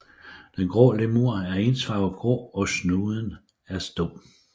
Den grå lemur er ensfarvet grå og snuden er stump